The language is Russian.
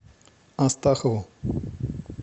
астахову